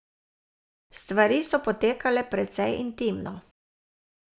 Stvari so potekale precej intimno.